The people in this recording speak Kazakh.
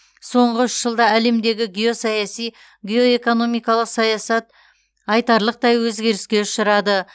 соңғы үш жылда әлемдегі геосаяси геоэкономикалық саясат айтарлықтай өзгеріске ұшырады